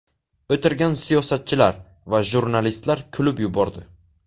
O‘tirgan siyosatchilar va jurnalistlar kulib yubordi.